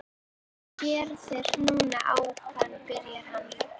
Þetta sem þú gerðir núna áðan byrjaði hann.